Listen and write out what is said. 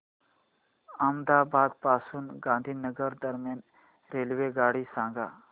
अहमदाबाद पासून गांधीनगर दरम्यान रेल्वेगाडी सांगा